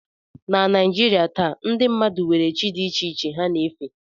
Na Naijiria taa, ndị mmadụ nwere chi dị iche iche ha na-efe